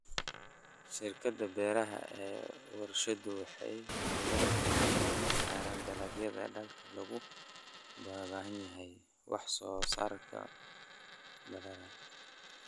Shirkadaha beeraha ee warshaduhu waxay diiradda saaraan dalagyada aadka loogu baahan yahay wax soo saarka ballaaran.